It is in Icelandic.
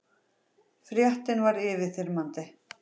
Fréttin var yfirþyrmandi.